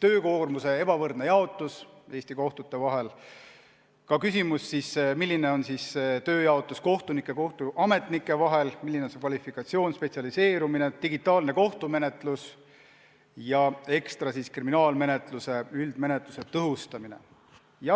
töökoormuse ebavõrdne jaotus Eesti kohtute vahel, sh küsimus, milline on tööjaotus kohtunike ja kohtuametnike vahel, milline on nende kvalifikatsioon ja spetsialiseerumine, samuti digitaalne kohtumenetlus ja ekstra veel kriminaalmenetluse, üldmenetluse tõhustamine.